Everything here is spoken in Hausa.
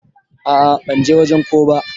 A'a ban je wajen ko ba.